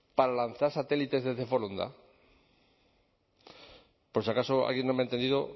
para lanzar satélites desde foronda por si acaso alguien no me ha entendido